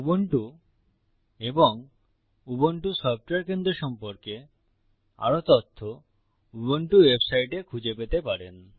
Ubuntu এবং Ubuntu software কেন্দ্র সম্পর্কে আরও তথ্য উবুন্টু ওয়েবসাইটে খুঁজে পেতে পারেন